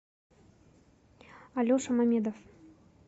алеша мамедов